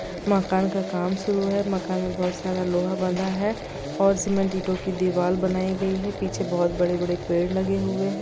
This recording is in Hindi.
मकान का काम शुरू है मकान में बहुत सारा लोहा बंधा है और सीमेंट ईंटों की दीवाल बनी है। पीछे बहोत बड़े बड़े पेड़ लगे हुए है।